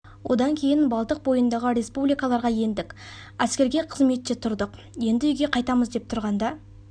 одан кейін балтық бойындағы республикаларға ендік әскерге қызметте тұрдық енді үйге қайтамыз деп тұрғанда